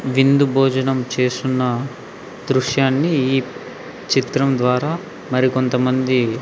విందు భోజనం చేస్తున్న దృశ్యాన్ని ఈ చిత్రం ద్వార మరి కొంత మంది--